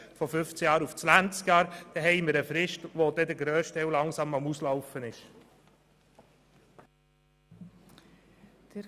Innerhalb dieser Frist muss der grösste Teil dann wirklich ersetzt werden.